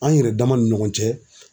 An yɛrɛ dama ni ɲɔgɔn cɛ.